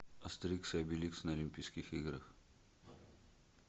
астерикс и обеликс на олимпийских играх